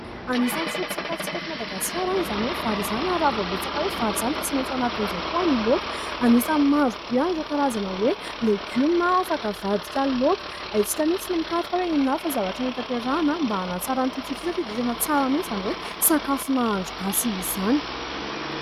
Anisany foto-tsakafontsika aty Madagasikara izany hoe vary izany. Raha vao resaka hoe vary izany dia tsy maintsy ao anatin'izay koa any ny laoka. Anisan'ny marobe an'ireo karazana hoe legioma afaka havadika laoka. Haintsika mihitsy ny mikaroka hoe inona avy ny zavatra mety hampiarahina mba hanatsara an'ity tsiro ity satria dia tena tsara mihitsy izany hoe sakafo nahandro gasy izany.